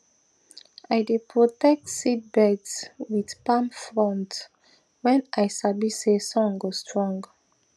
i dey protect seedbeds with palm fronds when i sabi say sun go strong